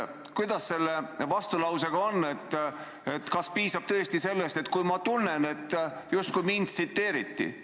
Kuidas selle vastulausega on: kas piisab tõesti sellest, kui ma tunnen, et justkui mind tsiteeriti?